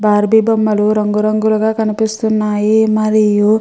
Barbie బొమ్మలు రంగురంగులుగా కనిపిస్తున్నాయి మరియు --